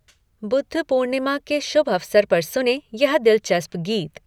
बुद्ध पूर्णिमा के शुभअवसर पर सुनें यह दिलचस्प गीत।